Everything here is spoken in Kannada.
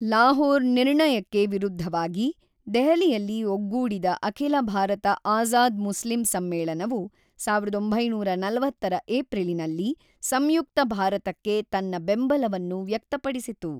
ಲಾಹೋರ್ ನಿರ್ಣಯಕ್ಕೆವಿರುದ್ಧವಾಗಿ, ದೆಹಲಿಯಲ್ಲಿ ಒಗ್ಗೂಡಿದ ಅಖಿಲ ಭಾರತ ಆಜಾದ್ ಮುಸ್ಲಿಂ ಸಮ್ಮೇಳನವು ಸಾವಿರದ ಒಂಬೈನೂರ ನಲವತ್ತರ ಏಪ್ರಿಲಿನಲ್ಲಿ ಸಂಯುಕ್ತ ಭಾರತಕ್ಕೆ ತನ್ನ ಬೆಂಬಲವನ್ನು ವ್ಯಕ್ತಪಡಿಸಿತು.